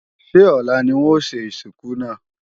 Ṣé ọ̀la ni wọn ó ṣe ìsìnkú náà?